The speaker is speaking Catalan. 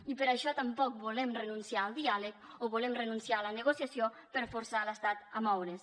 i per això tampoc volem renunciar al diàleg o volem renunciar a la negociació per forçar l’estat a moure’s